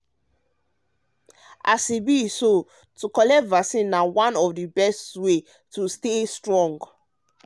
as e be so to collect vaccine na one of the best way to stay way to stay strong.